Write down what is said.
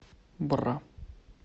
бра